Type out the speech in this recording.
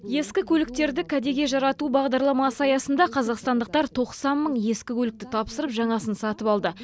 ескі көліктерді кәдеге жарату бағдарламасы аясында қазақстандықтар тоқсан мың ескі көлікті тапсырып жаңасын сатып алды